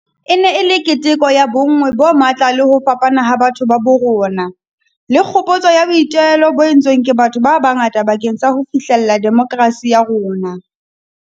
E ne e le keteko ya bonngwe bo matla le ho fapana ha batho ba bo rona, le kgopotso ya boitelo bo entsweng ke batho ba bangata bakeng sa ho fihlella demokerasi ya rona.